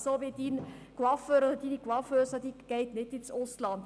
Coiffeure oder Coiffeusen gehen nicht ins Ausland.